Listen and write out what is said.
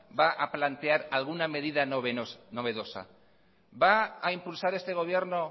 va a plantear alguna medida novedosa va a impulsar este gobierno